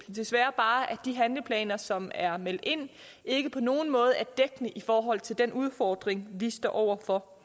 desværre bare at de handleplaner som er meldt ind ikke på nogen måder er dækkende i forhold til den udfordring vi står over for